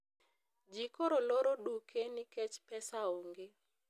ji koro loro duke nikech pesa onge